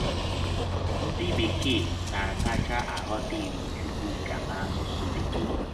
“ Ndị Bekee Na - akacha Aghọta Iwụ Chụkwụka n’Asụsụ Bekee ”